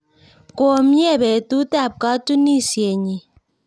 Ko myee petut ap katunisyenyi